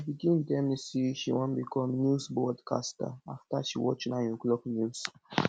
pikin tell me say she wan become news broadcaster after she watch 9 oclock news